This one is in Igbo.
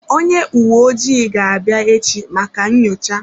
Onye uwe ojii ga-abịa echi maka nyocha.